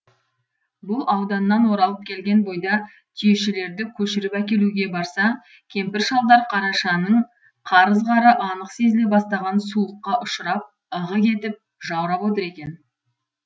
бұл ауданнан оралып келген бойда түйешілерді көшіріп әкелуге барса кемпір шалдар қарашаның қар ызғары анық сезіле бастаған суыққа ұшырап ығы кетіп жаурап отыр екен